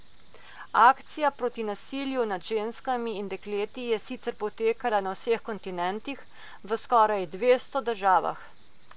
Akcija proti nasilju nad ženskami in dekleti je sicer potekala na vseh kontinentih, v skoraj dvesto državah.